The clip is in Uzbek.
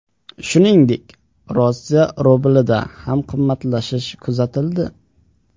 Shuningdek, Rossiya rublida ham qimmatlashish kuzatildi.